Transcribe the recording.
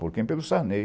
Por quem pelo Sarney.